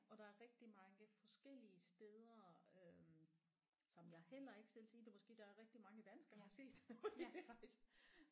Og der er rigtig mange forskellige steder øh som jeg heller ikke selv set det måske der er rigtig mange dansker der har set det fordi de rejser